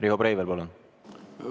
Riho Breivel, palun!